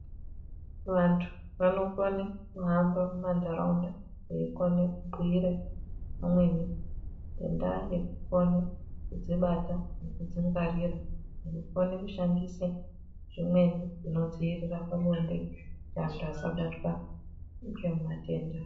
Vantu vanokone kuhamba mumantaraunda veikone kubhuire umweni ngendaa yekukone kudzibata nekudzingwarira nekukone kushandise zvimweni zvinodzivirira pabonde kuti antu asabatwa ngematenda